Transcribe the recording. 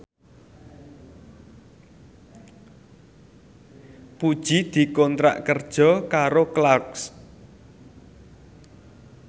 Puji dikontrak kerja karo Clarks